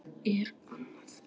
Það er Anna.